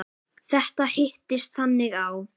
Þetta hittist þannig á.